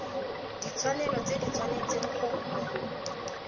ditshwanelo tse di tshwanetseng go